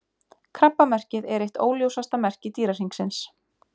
Krabbamerkið er eitt óljósasta merki Dýrahringsins.